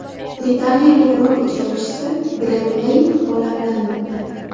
Britaniyalik rok ijrochisi Greg Leyk olamdan o‘tdi.